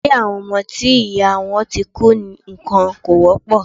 Ilé àwọn ọmọ tí ìyá wọn ti kú nìkan kò wọ́pọ̀.